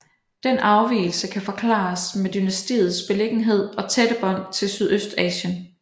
Den afvigelse kan forklares med dynastiets beliggenhed og tætte bånd til Sydøstasien